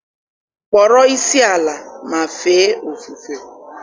kpọrọ isiala ma fee ofufe